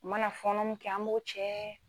U mana fɔnɔ min kɛ an m'o cɛ.